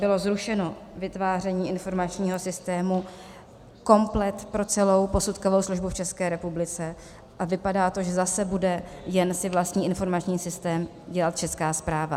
Bylo zrušeno vytváření informačního systému komplet pro celou posudkovou službu v České republice a vypadá to, že zase bude jen si vlastní informační systém dělat Česká správa.